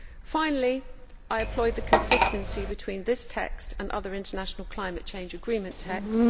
Finally, I applaud the consistency between this text and other international climate change agreement texts.